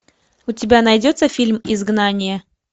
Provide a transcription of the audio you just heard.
у тебя найдется фильм изгнание